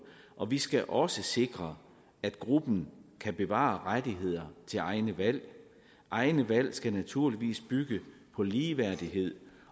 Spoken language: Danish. og vi skal også sikre at gruppen kan bevare rettigheder til egne valg egne valg skal naturligvis bygge på ligeværdighed